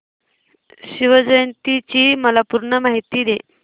शिवजयंती ची मला पूर्ण माहिती दे